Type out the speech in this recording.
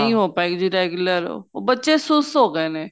ਨੀਂ ਹੋ ਪਾਏ ਗੀ regular ਉਹ ਬੱਚੇ ਸੁਸਤ ਹੋ ਗਏ ਨੇ